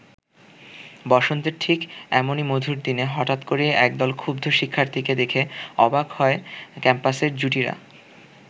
বসন্তের ঠিক এমনি মধুর দিনে হঠাৎ করেই একদল ক্ষুব্ধ শিক্ষার্থীকে দেখে অবাক হয় ক্যাম্পাসের জুটিরা।